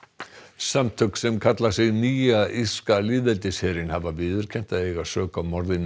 samtök sem kalla sig Nýja írska lýðveldisherinn hafa viðurkennt að eiga sök á morði